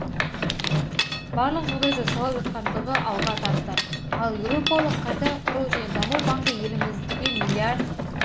барлық жағдай жасалып жатқандығын алға тартты ал еуропалық қайта құру және даму банкі елімізге миллиард